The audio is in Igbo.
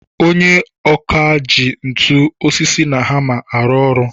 Onye ọkà ji ntu, osisi na hammer arụ ọrụ.